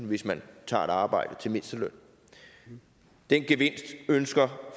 hvis man tager et arbejde til mindsteløn den gevinst ønsker